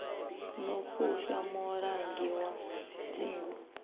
no fushwa mulangi wa dzingu